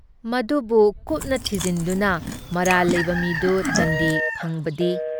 ꯃꯗꯨꯕꯨ ꯀꯨꯞꯖ ꯊꯤꯖꯤꯟꯗꯨꯅ ꯃꯔꯥꯜ ꯂꯩꯕ ꯃꯤꯗꯨ ꯗꯟꯗꯤ ꯐꯪꯕꯗꯤ